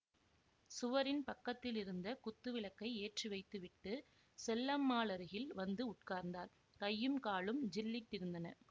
சுவரின் பக்கத்திலிருந்த குத்துவிளக்கை ஏற்றிவைத்துவிட்டு செல்லம்மாளருகில் வந்து உட்கார்ந்தார் கையும் காலும் ஜில்லிட்டிருந்தன